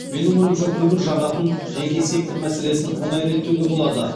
менің ойымша көмір жағатын жеке сектор мәселесін оңай реттеуге болады